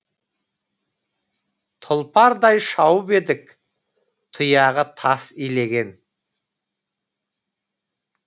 тұлпардай шауып едік тұяғы тас илеген